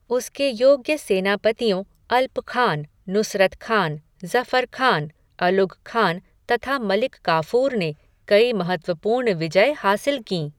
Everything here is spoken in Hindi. उसके योग्य सेनापतियों अल्पखान, नुसरत खान, ज़फ़र ख़ान, अलुग़खान तथा मलिक काफ़ूर ने कई महत्त्वपूर्ण विजय हासिल कीं।